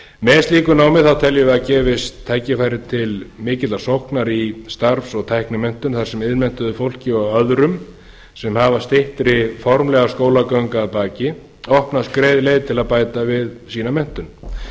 með slíku námi teljum við að gefist tækifæri til mikillar sóknar í starfs og tæknimenntun þar sem iðnmenntuðu fólki og öðrum sem hafa styttri formlega skólagöngu að baki opnast greið leið til að bæta við sína menntun það